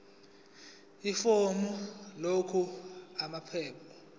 ifomu lakho namaphepha